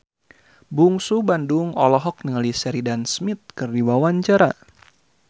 Bungsu Bandung olohok ningali Sheridan Smith keur diwawancara